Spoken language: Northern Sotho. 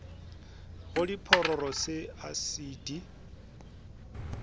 go diphororo se a di